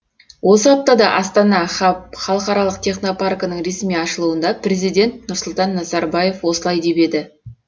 осы аптада астана хаб халықаралық технопаркінің ресми ашылуында президент нұрсұлтан назарбаев осылай деп еді